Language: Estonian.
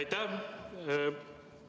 Aitäh!